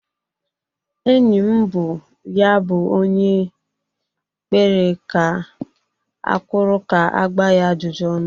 Enyi m bụ ya bụ onye kpere ga-akwụrụ ka-agba ya ajụjụ ọnụ.